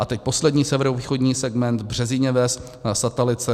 A teď poslední, severovýchodní segment, Březiněves, Satalice.